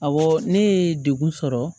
Awɔ ne ye degun sɔrɔ